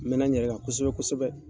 N mɛn na n yɛrɛ kan kosɛbɛ kosɛbɛ.